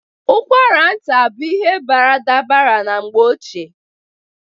Ụkwara nta dị bụ baradabara na mgbe ochie.